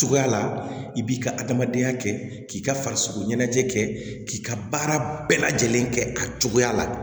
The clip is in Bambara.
Cogoya la i b'i ka adamadenya kɛ k'i ka farisogo ɲɛnajɛ kɛ k'i ka baara bɛɛ lajɛlen kɛ a cogoya la